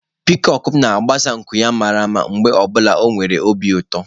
Piikoku m na-agbasa nku ya mara mma mgbe ọ bụla ọ nwere obi ụtọ.